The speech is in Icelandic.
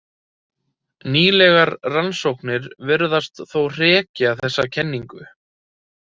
Nýlegar rannsóknir virðast þó hrekja þessa kenningu.